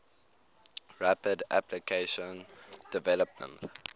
rapid application development